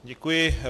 Děkuji.